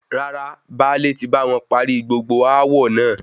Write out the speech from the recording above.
Rárá, báálè tí báwọn parí gbogbo aawọ naa